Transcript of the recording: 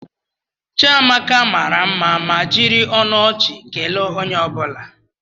Chiamaka mara mma ma jiri ọnụ ọchị kelee onye ọ bụla.